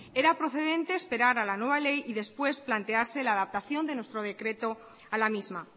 era procedente esperar a la nueva ley y después plantease la adaptación de nuestro decreto a la misma